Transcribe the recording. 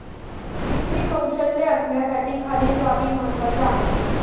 विक्री कौशल्य असण्यासाठी खालील बाबी महत्वाच्या आहेत.